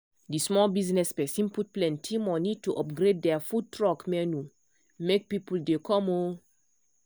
the small business person put plenty money to upgrade their food truck menu make people dey come. um